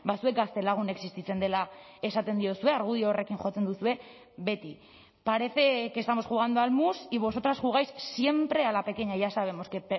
zuek gaztelagun existitzen dela esaten diozue argudio horrekin jotzen duzue beti parece que estamos jugando al mus y vosotras jugáis siempre a la pequeña ya sabemos que